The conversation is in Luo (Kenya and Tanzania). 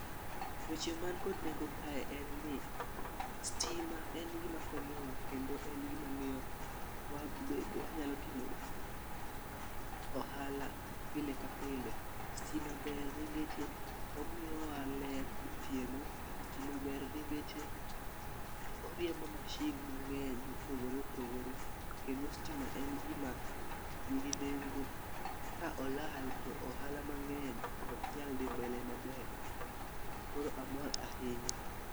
Weche man kod nengo kae en ni stima en gima konyowa kendo en gimamiyo wabed wanyalo timo ohala pile ka pile. Stima ber nikech omiyowa ler gotieno stima ber nikeche oriembo masin mang'eny mopogre popogore kendo stima en gima nigi nengo ka olal to ohala mang'eny ok nyal dhi mbele maber, koro amor ahinya.